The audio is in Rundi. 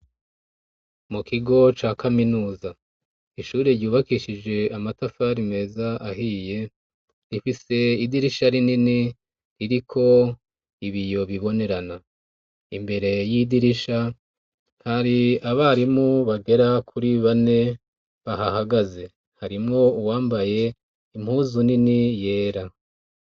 Mu kigo ca kaminuza, ishure ryubakishije amatafari meza ahiye rifise idirisha rinini ririko ibiyo bibonerana, imbere yidirisha hari abarimu bagera kuri bane bahahagaze harimwo uwambaye impuzu nini yera.